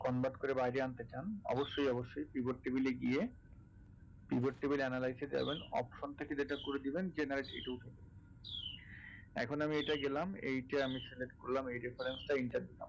convert করে বাইরে আনতে চান অবশ্যই অবশ্যই pivot table এ গিয়ে pivot table analyse এ যাবেন option থেকে যেটা করে দেবেন generate . এখন আমি এইটায় গেলাম এইটা আমি select করলাম এই reference টায় enter দিলাম